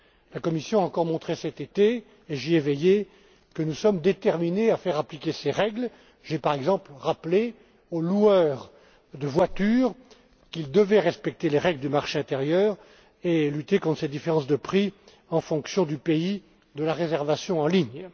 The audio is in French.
La Commission a encore montré cet été et j'y ai veillé que nous sommes déterminés à faire appliquer ces règles. J'ai, par exemple, rappelé aux loueurs de voitures qu'ils devaient respecter les règles du marché intérieur et lutter contre les différences de prix en fonction du pays de la réservation en ligne.